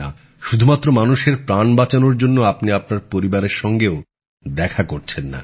শুধুমাত্র মানুষের প্রাণ বাঁচানোর জন্য আপনি আপনার পরিবারের সঙ্গেও দেখা করছেন না